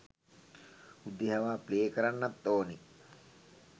උදේ හවා ප්ලේ කරන්නත් ඕනි